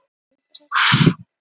Fyrsta snertingin gaf fyrirheit